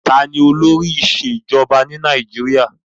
Ta ni olóri ìṣèjọba ni Nàìjíríà?